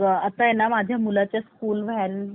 School bus आहे ना त्याची स्कूल बस, .